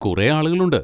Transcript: കുറെ ആളുകളുണ്ട്.